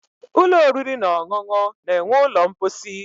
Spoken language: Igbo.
Ụlọ oriri na ọṅụṅụ na-enwe ụlọ mposi.